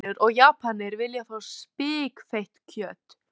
Magnús Hlynur: Og Japanir vilja fá spikfeitt kjöt?